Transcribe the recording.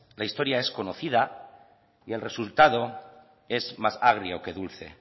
la historia es conocida y el resultado es más agrio que dulce